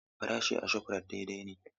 Farashi a Shofrayit daidai ne.